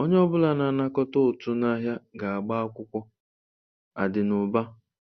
Onye ọ bụla na-anakọta ụtụ n'ahịa ga-agba akwụkwọ-Adinuba